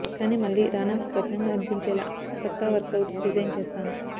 కానీ మళ్లీ రానాకు కఠినంగా అనిపించేలా కొత్త వర్కవుట్ డిజైన్ చేస్తాను